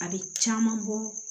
A bɛ caman bɔ